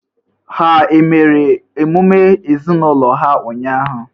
Ha e mere emume ezinaụlọ ha ụnyahụ?